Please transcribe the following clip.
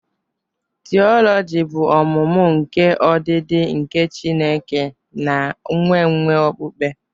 Tioloji bụ ọmụmụ nke ọdịdị nke Chineke na nkwenkwe okpukpe.